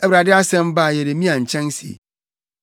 Awurade asɛm baa Yeremia nkyɛn se,